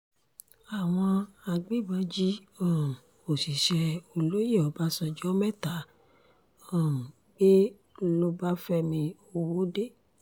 àwọn agbébọn jí um òṣìṣẹ́ olóyè ọbàṣánjọ́ mẹ́ta um gbé lọ́báfẹ́mi ọwọ́de